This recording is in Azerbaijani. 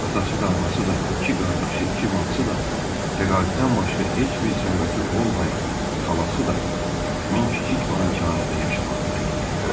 Atası da, anası da, iki qardaşı, iki bacısı da, təqaüddən başqa heç bir sərvəti olmayan xalası da həmin kiçik malikanədə yaşamaqda idi.